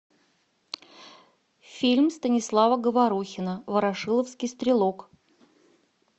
фильм станислава говорухина ворошиловский стрелок